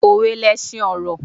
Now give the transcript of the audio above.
Òwe lesin ọ̀rọ̀